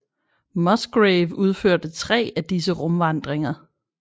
Musgrave udførte 3 af disse rumvandringer